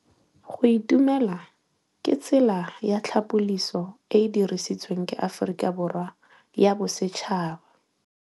Go itumela ke tsela ya tlhapolisô e e dirisitsweng ke Aforika Borwa ya Bosetšhaba.